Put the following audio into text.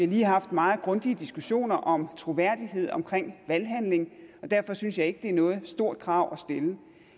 lige haft meget grundige diskussioner om troværdighed omkring valghandling og derfor synes jeg ikke at det er noget stort krav at stille